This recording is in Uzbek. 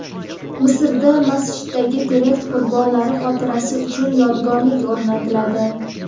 Misrda masjiddagi terakt qurbonlari xotirasi uchun yodgorlik o‘rnatiladi.